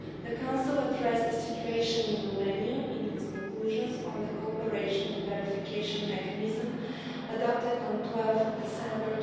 The Council addressed the situation in Romania in its conclusions on the cooperation and verification mechanism adopted on 12 December